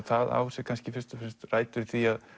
það á sér kannski fyrst og fremst rætur í því að